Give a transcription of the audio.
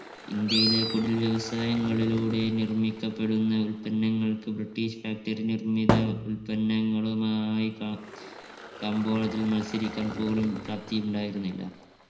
ഇന്ത്യയിലെ കുടിൽ വ്യവസായങ്ങളിലൂടെ നിർമിക്കപ്പെടുന്ന ഉത്പന്നങ്ങൾക്ക് british factory നിർമ്മിത ഉല്പന്നങ്ങളുമായി ക കമ്പോളത്തിൽ മത്സരിക്കാൻ പോലും പ്രാപ്തിയുണ്ടായിരുന്നില്ല.